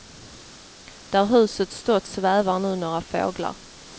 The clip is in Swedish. Där huset stått svävar nu några fåglar.